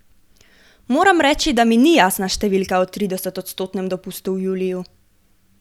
Moram reči, da mi ni jasna številka o tridesetodstotnem dopustu v juliju.